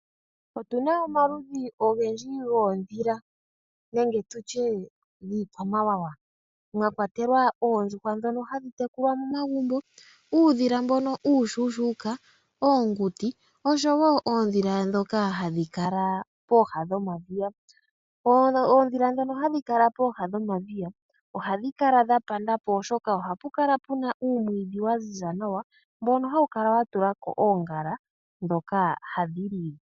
Otu na omaludhi ogendji goondhila nenge tu tye iikwamawawa, mwa kwatelwa oondjuhwa ndhono hadhi tekulwa momagumbo, uudhila mbono uushuushuuka, oonguti osho wo oondhila ndhono hadhi kala pooha dhomadhiya. Oondhila ndhono hadhi kala pooha dhomadhiya ohadhi kala dha panda po oshoka ohapu kala oomwiidhi dha ziza nawa dha tula ko oongala ndhoka hadhi li.